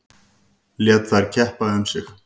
Lét þær keppa um sig.